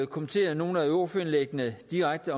kommentere nogle af ordførerindlæggene direkte